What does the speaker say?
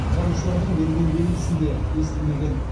құтқарушылардың берген белгісін де естімеген